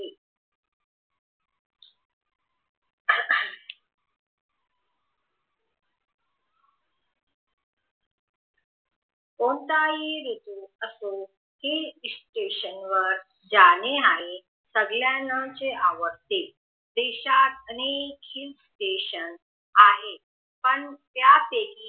कोणताही ऋतू असो हिल्स स्टेशन वर जाणे आहे सगळ्याना च आवडते